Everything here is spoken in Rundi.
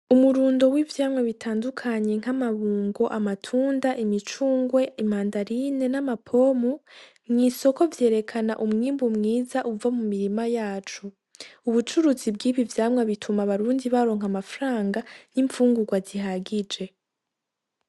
Umurundo w'ivyamwa bitandukanye nk'amabungo, amatunda, imicungwe, imandarine n'amapomu mw'isoko vyerekana umwimbu mwiza uva mu mirima yacu. Ubucuruzi bw'ibi vyamwa bituma abarundi baronka amafranga y'imfungurwa zihagije.